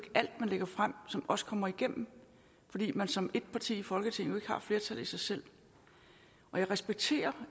alt man lægger frem som også kommer igennem fordi man som et parti i folketinget ikke har et flertal i sig selv jeg respekterer